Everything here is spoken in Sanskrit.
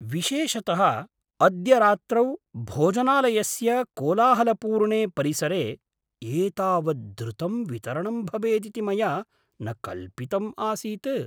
विशेषतः अद्य रात्रौ भोजनालयस्य कोलाहलपूर्णे परिसरे एतावत् द्रुतं वितरणम् भवेदिति मया न कल्पितम् आसीत्।